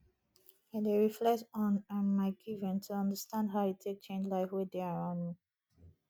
i dey reflect on um my giving to understand how e take change life wey dey around me